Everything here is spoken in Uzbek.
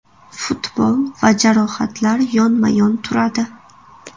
Futbol va jarohatlar yonma-yon turadi.